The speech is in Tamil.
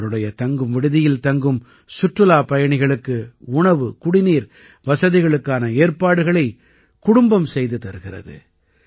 இவருடைய தங்கும் விடுதியில் தங்கும் சுற்றுலாப் பயணிகளுக்கு உணவுகுடிநீர் வசதிகளுக்கான ஏற்பாடுகளைக் குடும்பம் செய்து தருகிறது